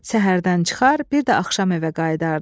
Səhərdən çıxar, bir də axşam evə qayıdardı.